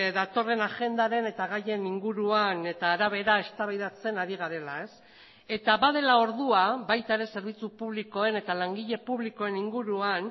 datorren agendaren eta gaien inguruan eta arabera eztabaidatzen ari garela eta badela ordua baita ere zerbitzu publikoen eta langile publikoen inguruan